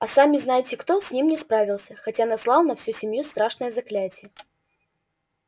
а сами-знаете-кто с ним не справился хотя наслал на всю семью страшное заклятие